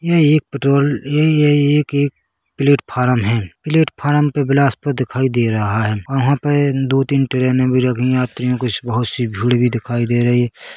ये एक पेट्रोल ये ये एक एक प्लेटफॉर्म है प्लेटफॉर्म पे बिलासपुर दिखाई दे रहा है और वहाँ पे दो तीन ट्रेनें भी रखी है यात्रीयों के स बहोत सी भीड़ भी दिखाई दे रही --